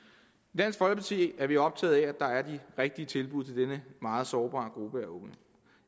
dansk folkeparti er vi optaget af at der er de rigtige tilbud til denne meget sårbare gruppe af unge